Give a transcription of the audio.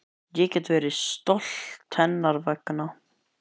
Ég get verið stolt hennar vegna.